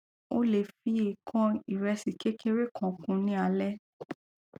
o le fi ekan iresi kekere kan kun ni alẹ